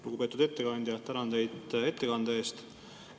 Lugupeetud ettekandja, tänan teid ettekande eest!